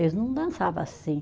Eles não dançava assim.